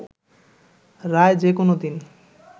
রায় যে কোনো দিন